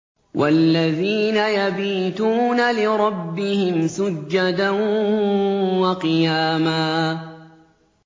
وَالَّذِينَ يَبِيتُونَ لِرَبِّهِمْ سُجَّدًا وَقِيَامًا